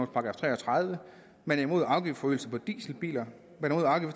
§ tre og tredive man er imod afgiftsforøgelse på dieselbiler